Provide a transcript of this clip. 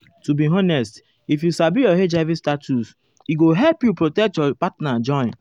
to be honest if you sabi your hiv status e go help you protect your partner join.